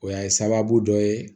O y'a sababu dɔ ye